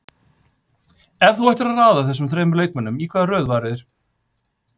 Ef þú ættir að raða þessum þremur leikmönnum, í hvaða röð væru þeir?